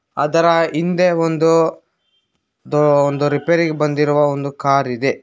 ಹಿಂದೆ ಒಂದು ದೋ ಒಂದು ರಿಪೇರಿಗಿ ಬಂದಿರುವ ಒಂದು ಕಾರ್ ಇದೆ.